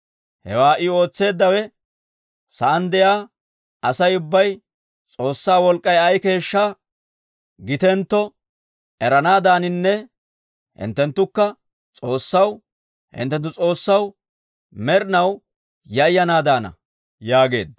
Hewaa I ootseeddawe sa'aan de'iyaa Asay ubbay S'oossaa wolk'k'ay ay keeshshaa gitentto eranaadaaninne hinttenttukka S'oossaw, hinttenttu S'oossaw, med'inaw yayanaadaana» yaageedda.